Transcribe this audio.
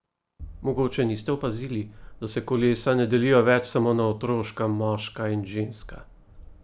Mogoče niste opazili, da se kolesa ne delijo več samo na otroška, moška in ženska?